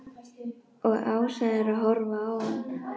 Og Ása er að horfa á hann.